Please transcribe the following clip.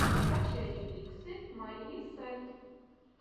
скачай ремиксы марии сэрт